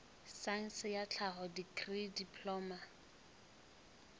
saense ya tlhaho dikri diploma